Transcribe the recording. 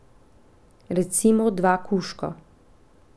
Recimo dva kužka.